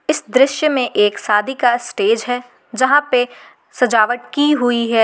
इस दृश्य में एक शादी का स्टेज है यहां पे सजावट की हुई है।